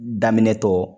Daminɛ tɔ